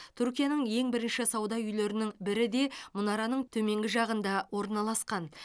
түркияның ең бірінші сауда үйлерінің бірі де мұнараның төменгі жағында орналасқан